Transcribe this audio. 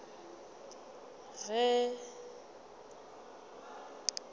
go ye kae ya ba